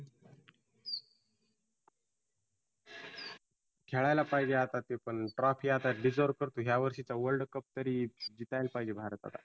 खेळायला पाहीजे आता तो. पण trophy आता deserve करतोय या वर्षी world cup तरी जिंकायला पाहिजे भारत आता.